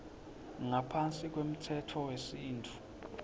ngaphansi kwemtsetfo wesintfu